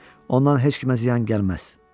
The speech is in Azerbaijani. Ondan heç kimə ziyan gəlməz.